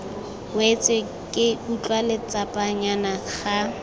wetse ke utlwa letsapanyana ga